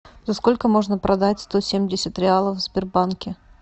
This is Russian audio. за сколько можно продать сто семьдесят реалов в сбербанке